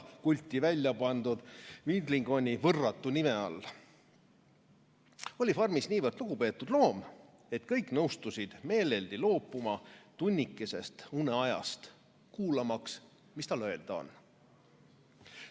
Vana Major oli farmis niivõrd lugupeetud loom, et kõik nõustusid meeleldi loobuma tunnikesest uneajast, kuulmaks, mis tal öelda on.